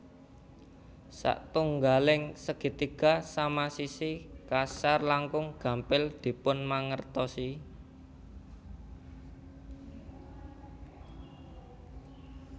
Satunggaling segitiga sama sisi kasar langkung gampil dipunmangertosi